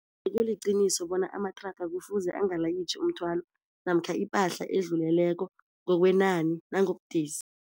Kuliqiniso bona amatraga kufuze angalayitjhi umthwalo namkha ipahla edluleleko ngokwenani nangobudisi.